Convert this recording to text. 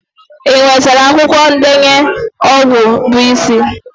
Ị nwetara akwụkwọ ndenye ọgwụ bụ isi?